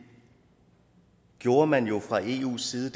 gjorde man jo fra eus side